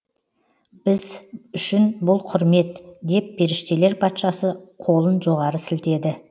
біз үшін бұл құрмет деп періштелер патшасы қолын жоғары сілтеді